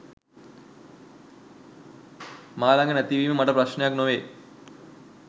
මා ලඟ නැතිවීම මට ප්‍රශ්නයක් නොවේ.